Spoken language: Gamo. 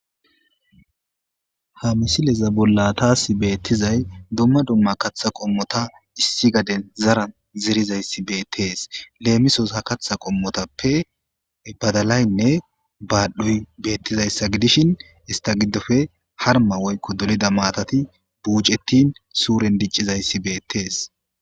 ha missileza bolla tasi bettizay duma duma kaththa qommota issi gadden zaran zerizayissi bettes lemmisos ha kaththa qommotappe baddalayi nne badhdhoyi bettizayisa giddishin ista giddoppe harmma woyikko dolida matati buccetin suren diccizay tasi beettes.